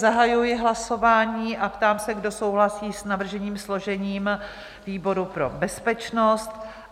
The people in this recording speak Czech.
Zahajuji hlasování a ptám se, kdo souhlasí s navrženým složením výboru pro bezpečnost?